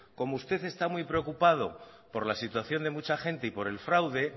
como usted está muy preocupado por la situación de mucha gente y por el fraude